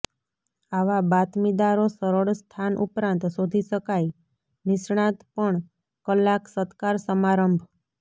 આવા બાતમીદારો સરળ સ્થાન ઉપરાંત શોધી શકાય નિષ્ણાત પણ કલાક સત્કાર સમારંભ